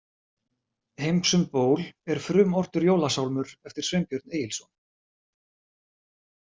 Heims um ból er frumortur jólasálmur eftir Sveinbjörn Egilsson.